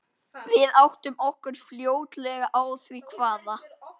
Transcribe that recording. Við áttum okkur fljótlega á því hvaða